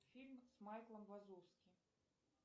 фильм с майклом вазовски